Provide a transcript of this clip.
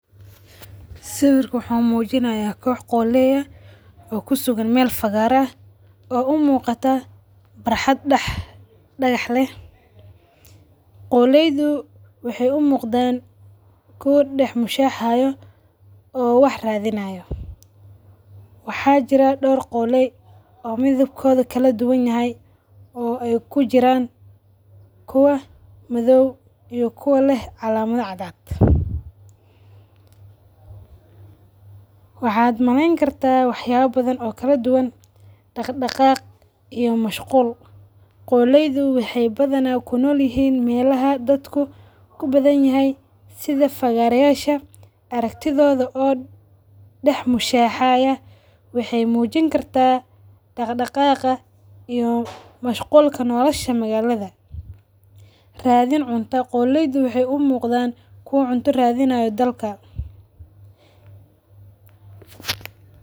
Sawirka waxu mujinaya koox qoolay aah oo kusugan meel fagara aah oo u muqataa faraxaad dagaxle. Qoolaydo waxay u muqdaan kuwa dadax mushaxayo oo wax raadhinayo. Waxa jiraa door qoolay oo midhabkoodhi kaladuwaan yahay oo ay kujiraan kuwa; midhow iyo kuwa leeh calamada caadcad. Waxaad maleen kartaa waxabo badhaan oo kaladuwaan daqdaqaq iyo mashquul. Qolaydu waxay badhana ku noolihiin meelaha daadku kubadhanyahay sidha fagarayasha araktidhoda oo dax mushaxaya. Waxay muujini kartaa daqdaqaqa iyo mashgulka noolashada makaladha. Raadhin cunta, qooleyda waxay u muqdaan kuwa cunta raadhinayo daalka .